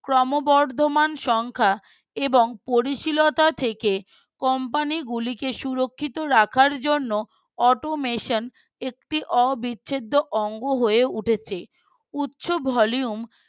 ক্রমবর্ধমান সংখ্যা এবং পরিশীলতা থেকে Company গুলিতে সুরক্ষিত রাখার জন্য Automation একটু অবিছেদ্দ অঙ্গ হয়ে উটেছে উচ্চ Volume